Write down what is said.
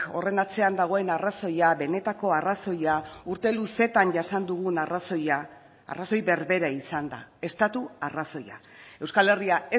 horren atzean dagoen arrazoia benetako arrazoia urte luzetan jasan dugun arrazoia arrazoi berbera izan da estatu arrazoia euskal herria